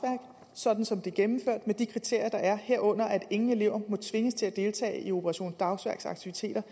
sådan som det er gennemført med de kriterier der er herunder at ingen elever må tvinges til at deltage i operation dagsværks aktiviteter